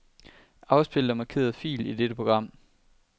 Afspil den markerede fil i dette program.